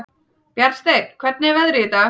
Bjarnsteinn, hvernig er veðrið í dag?